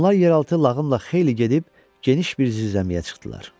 Onlar yeraltı lağımla xeyli gedib geniş bir zirzəmiyə çıxdılar.